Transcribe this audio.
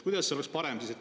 Kuidas see siis parem oleks?